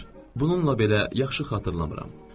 Bununla belə yaxşı xatırlamıram.